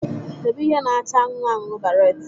Debe ihe na-acha anụnụ anụnụ baret